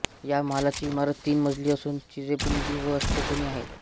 या महालाची इमारत तीन मजली असून चिरेबंदी व अष्टकोनी आहे